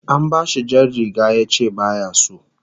An bashi jar riga yace baya so